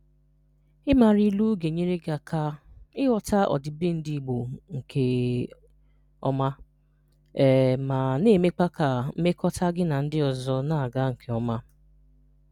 Ị mara ịlụ ga-enyere gị aka ịghọta ọdịbendị Igbo nke ọma, um ma na-emekwa ka mmekọta gị na ndị ọzọ na-aga nke ọma.